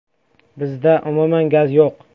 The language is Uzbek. Bizda umuman gaz yo‘q.